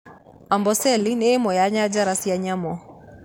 Amboseli ni ĩmwe ya njanjara cia nyamũ